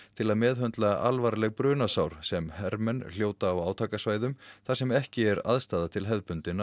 til að meðhöndla alvarleg brunasár sem hermenn hljóta á átakasvæðum þar sem ekki er aðstaða til hefðbundinna